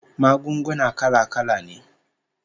Magunguna kala-kala ne